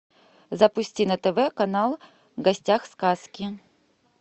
запусти на тв канал в гостях сказки